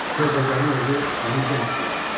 Sövdəgərin oğlu onu yenə suya atdı.